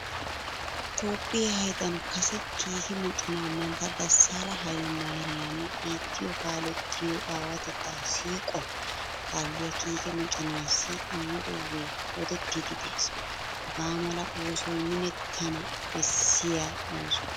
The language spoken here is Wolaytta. Toophphiya haydan kase kiike moconaa mantta dassaala haylemaariyaami biittiyo kaalettiyo aawatettaa siiquwan kaalliya kiike moconaassi immidoogee odettiiddi de'ees. Hagaa mala oosoy minettana bessiya ooso.